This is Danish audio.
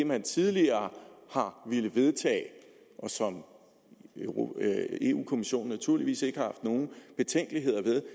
man tidligere har villet vedtage og som europa kommissionen naturligvis ikke har haft nogen betænkeligheder ved